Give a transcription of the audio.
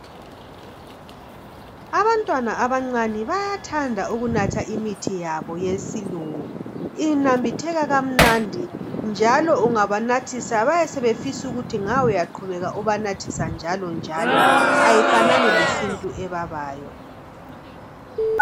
Abantwana abancane bayathanda ukunatha imithi yabo yesilungu inambitheka kamnandi njalo ungabanathisa bayasefisa ukuthi nga uyaqhubela ubanathisa njalo njalo ayifanani lesintu ebabayo.